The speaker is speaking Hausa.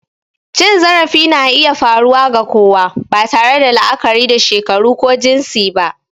Cin zarafi na iya faruwa ga kowa, ba tare da la'akari da shekaru ko jinsi ba.